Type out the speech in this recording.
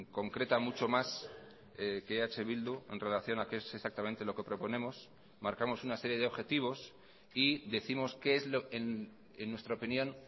concreta mucho más que eh bildu en relación a qué es exactamente lo que proponemos marcamos una serie de objetivos y décimos qué es en nuestra opinión